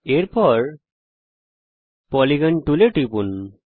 এর পরে পলিগন টুলে টিপুন